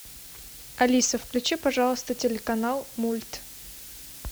алиса включи пожалуйста телеканал мульт